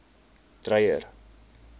dreyer